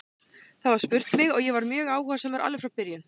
Það var spurt mig og ég var mjög áhugasamur alveg frá byrjun.